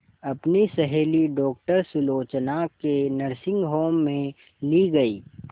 अपनी सहेली डॉक्टर सुलोचना के नर्सिंग होम में ली गई